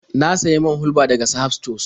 Na sayi man hulɓa daga Sahad sutos.